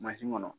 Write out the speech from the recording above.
kɔnɔ